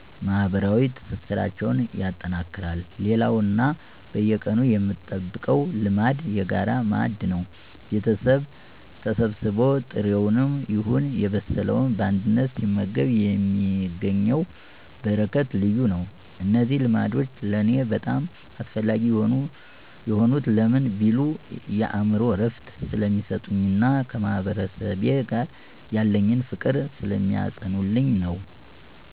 ማህበራዊ ትስስራችንን ያጠነክረዋል። ሌላውና በየቀኑ የምጠብቀው ልማድ "የጋራ ማዕድ" ነው። ቤተሰብ ተሰብስቦ ጥሬውንም ይሁን የበሰለውን በአንድነት ሲመገብ የሚገኘው በረከት ልዩ ነው። እነዚህ ልማዶች ለኔ በጣም አስፈላጊ የሆኑት ለምን ቢሉ፣ የአእምሮ እረፍት ስለሚሰጡኝና ከማህበረሰቤ ጋር ያለኝን ፍቅር ስለሚያጸኑልኝ ነው።